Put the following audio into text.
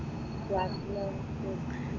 ക്ലാസ്സിലോ